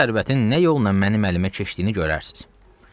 Bu sərvətin nə yolla mənim əlimə keçdiyini görərsiz.